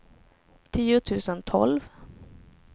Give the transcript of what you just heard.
tio tusen tolv